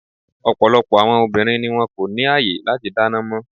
Ọ̀pọ̀lọpọ̀ àwọn obìnrin ni wón kò ní àyè láti dáná mọ́.